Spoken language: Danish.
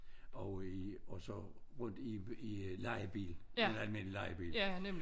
Og i og så rundt i i lejebil en almindelig lejebil